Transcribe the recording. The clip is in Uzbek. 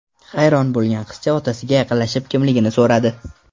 Hayron bo‘lgan qizcha otasiga yaqinlashib, kimligini so‘radi.